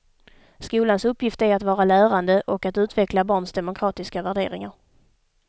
Skolans uppgift är att vara lärande och att utveckla barns demokratiska värderingar.